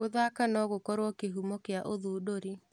Gũthaka no gũkorwo kĩhumo kĩa ũthundũri.